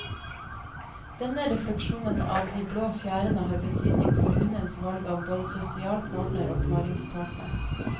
Denne refleksjonen av de blå fjærene har betydning for hunnens valg av både sosial partner og paringspartner.